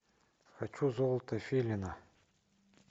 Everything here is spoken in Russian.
хочу золото филина